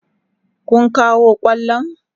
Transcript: Kun kawo kwallon?